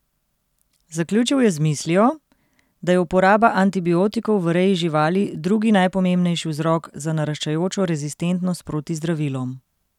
Zaključil je z mislijo, da je uporaba antibiotikov v reji živali drugi najpomembnejši vzrok za naraščajočo rezistentnost proti zdravilom.